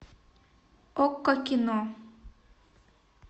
окко кино